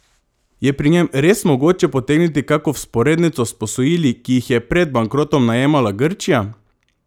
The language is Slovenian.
Je pri njem res mogoče potegniti kako vzporednico s posojili, ki jih je pred bankrotom najemala Grčija?